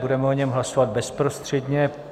Budeme o něm hlasovat bezprostředně.